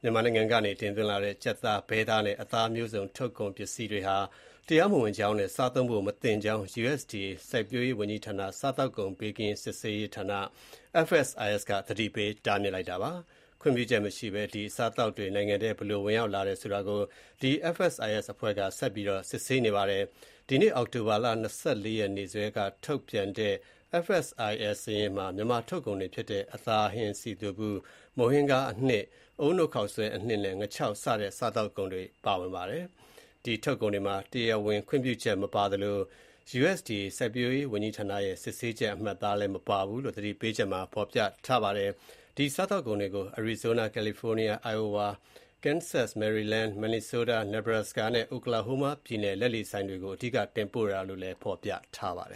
မြန်မာနိုင်ငံကနေ တင်လာသွင်းတဲ့ ကြက်သား၊ ဘဲသားနဲ့ အသားမျိုးစုံ ထုတ်ကုန်ပစ္စည်းတွေဟာ တရားမဝင်ကြောင်းနဲ့ စားသုံးဖို့ မသင့်ကြောင်း လယ်ယာစိုက်ပျိုးရေးဝန်ကြီးဌာနအောက်က စားသောက်ကုန်ဘေးကင်းလုံခြုံရေးနဲ့ စစ်ဆေးရေးဌာန FSIS က သတိပေးတားမြစ်လိုက်ပါတယ်။ ခွင့်ပြုချက်မရှိဘဲ ဒီအစားအသောက်တွေနိုင်ငံထဲ ဘယ်လိုဝင်ရောက်လာတယ်ဆိုတာ FSIS က ဆက်ပြီးစစ်ဆေးနေပါတယ်။ ဒီနေ့ အောက်တိုဘာ ၂၄ နေ့စွဲနဲ့ ထုတ်ပြန်တဲ့ စာရင်းမှာ မြန်မာထုတ်ကုန်တွေဖြစ်တဲ့ အသားဟင်း စည်သွပ်ဗူး၊ မုန့်ဟင်းခါးအနှစ်၊ အုန်းနို့ခေါက်ဆွဲအနှစ်နဲ့ ငါးခြောက်စတဲ့ စားသောက်ကုန်တွေပါဝင်ပါတယ်။ ဒီထုတ်ကုန်တွေမှာ တရားဝင်ခွင့်ပြုချက်မပါသလို၊ USDA စစ်ဆေးချက်အမှတ်အသားလည်း မပါဘူးလို့ သတိပေးချက်မှာဖော်ပြထားပါတယ်။ ဒီစားသောက်ကုန်တွေကို Arizona၊ California၊ Iowa၊ Kansas၊ Maryland၊ Minnesota၊ Nebraska နဲ့ Oklahoma ပြည်နယ် လက်လီဆိုင်တွေကို အဓိက တင်ပို့တာဖြစ်တယ်လို့လည်း ဖော်ပြပါတယ